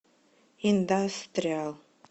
индастриал